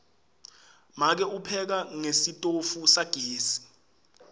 make upheka ngesitofu sagesi